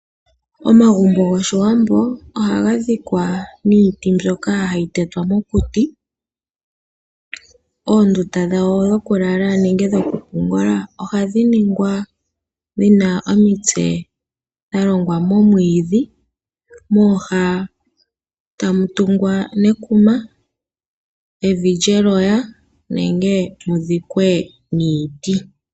Omagumbo gOshiwambo ohaga dhikwa niiti mbyoka hayi tetwa mokuti. Oondunda dhawo dhokulala nenge dhokupungula ohadhi ningwa dhi na omitse dha longwa momwiidhi, mooha tamu tungwa nekuma, evi lyeloya, nenge mu dhikwe niiti.